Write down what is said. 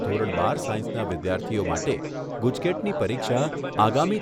ધોરણ બાર સાયન્સના વિદ્યાર્થીઓ માટે ગુજકેટની પરીક્ષા આગામી